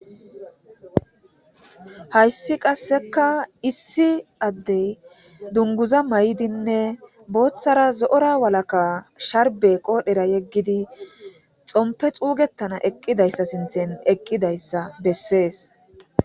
Hayssi qasseka issi addey dunguza may7dinne booththara zo7ora walaka sharbe qoodhera yeggidi xompe xuugettana eqqidayssa sinthen eqqidayssa bessees.